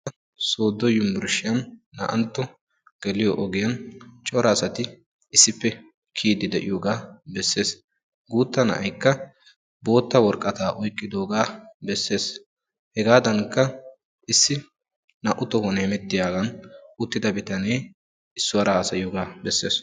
sodo unburushiyani naa"anto geliyo pengiyanni corra ssati issipe kiyidi dessona guutta na'aykka bootta woraqata oyqidaga bessesi hegadanikka issi naa"u tohuwani hemetiyagan uttidagekke issuwara haasayigakka bessessi.